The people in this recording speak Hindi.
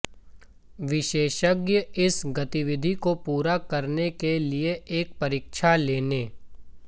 विशेषज्ञ इस गतिविधि को पूरा करने के लिए एक परीक्षा लेने